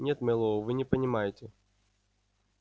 нет мэллоу вы не понимаете